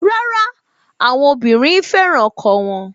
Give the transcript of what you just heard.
Rárá, àwọn obìnrin fẹ́ràn ọkọ wọn